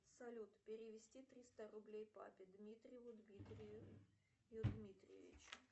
салют перевести триста рублей папе дмитриеву дмитрию дмитриевичу